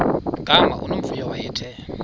gama unomvuyo wayethe